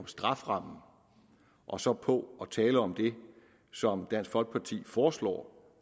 strafferamme og så på at tale om det som dansk folkeparti foreslår